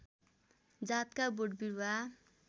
जातका बोटबिरुवा